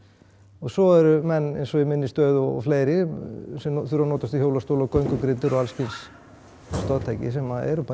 og svo eru menn eins og í minni stöðu og fleiri sem þurfa að notast við hjólastóla göngugrindur og alls kyns stoðtæki sem eru bara